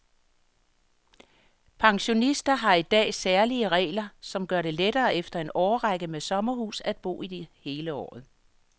Pensionister har i dag særlige regler, som gør det lettere efter en årrække med sommerhus at bo i det hele året.